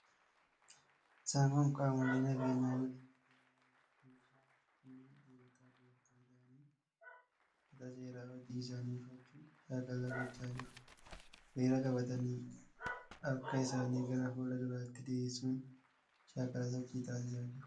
Isaan kun qaamolee nageenyaa milishaa jedhamaniidha. Milishoonni kunneen dhiirotaafi dubartoota ta'anii, uffata seeraa hojii isaanii uffachuun shaakala gochaa jiru. Hiriira qabatanii harka isaanii gara fuula duraatti diriirsuun shaakala sochii taasisaa jiru.